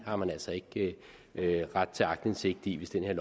har man altså ikke ret til aktindsigt i hvis det her